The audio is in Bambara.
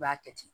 I b'a kɛ ten